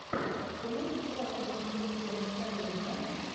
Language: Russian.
ты можешь показать мастерскую настроения